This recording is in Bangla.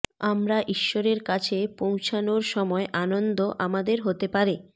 আমরা ঈশ্বরের কাছে পৌঁছানোর সময় আনন্দ আমাদের হতে পারে